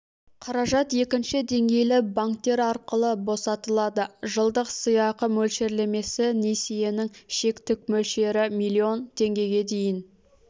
қаражат екінші деңгейлі банктер арқылы босатылады жылдық сыйақы мөлшерлемесі несиенің шектік мөлшері млн теңгеге дейін